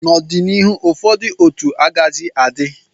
n'ọdịnihu, ụfọdụ otu agaghịzi adị